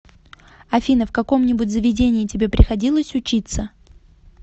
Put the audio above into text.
афина в каком нибудь заведении тебе приходилось учиться